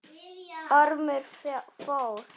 Ormur fór.